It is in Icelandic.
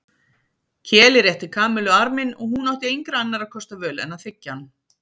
Keli rétti Kamillu arminn og hún átti engra annarra kosta völ en að þiggja hann.